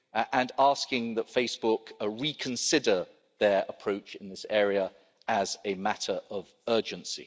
and asking that Facebook reconsider their approach in this area as a matter of urgency.